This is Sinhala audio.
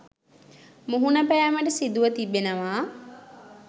මුහුණ පෑමට සිදුව තිබෙනවා.